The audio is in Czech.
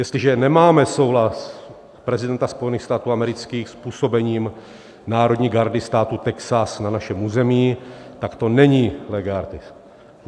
Jestliže nemáme souhlas prezidenta Spojených států amerických s působením národní gardy státu Texas na našem území, tak to není lege artis.